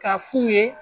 K'a f'u ye